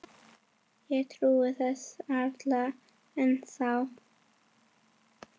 Ég trúi þessu varla ennþá.